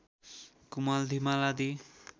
कुमाल धिमाल आदि